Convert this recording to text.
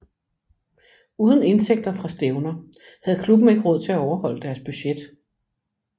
Uden indtægter fra stævner havde klubben ikke råd til at overholde deres budget